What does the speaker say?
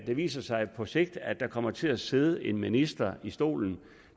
det viser sig på sigt at der kommer til sidde en minister i stolen